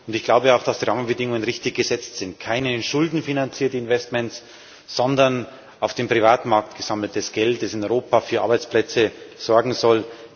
Ich glaube auch, dass die Rahmenbedingungen richtig gesetzt sind keine schuldenfinanzierten Investments, sondern auf dem Privatmarkt gesammeltes Geld, das in Europa für Arbeitsplätze sorgen soll.